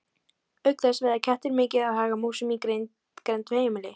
Auk þess veiða kettir mikið af hagamúsum í grennd við heimili.